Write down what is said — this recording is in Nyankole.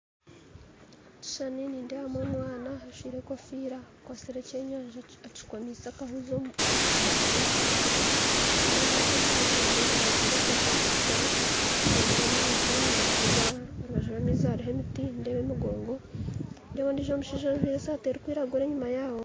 Omukishushani nindeebamu omwana ajwaire enkofiira akwatsire ekyenyaza kito kikomire akahuuzi omukanwa nindeeba ondiijo omushaija amuri ,enyuma ajwaire eshati erikutukura nindeeba amaizi nindeeba aharubazu rwamaizi hariho emiti ,nindeeba emigongo, nindeeba omushaija ondiijo ojwaire esaati erikwiragura enyuma yaabo.